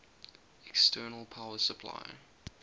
external power supply